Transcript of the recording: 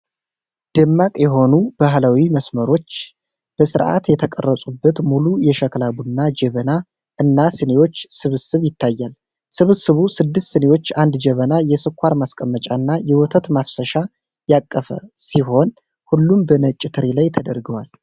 ደማቅ የሆኑ ባህላዊ መስመሮች በስርዓት የተቀረጹበት ሙሉ የሸክላ ቡና ጄበና እና ስኒዎች ስብስብ ይታያል። ስብስቡ ስድስት ስኒዎች፣ አንድ ጀበና፣ የስኳር ማስቀመጫ እና የወተት ማፍሰሻን ያቀፈ ሲሆን፣ ሁሉም በነጭ ትሪ ላይ ተደርድረዋል።